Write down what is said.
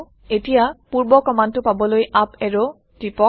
এতিয়া পূৰ্ব কমাণ্ডটো পাবলৈ আপ এৰো টিপক